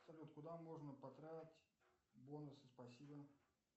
салют куда можно потратить бонусы спасибо